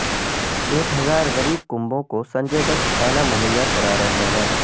ایک ہزارغریب کنبوں کو سنجے دت کھانا مہیا کرارہے ہیں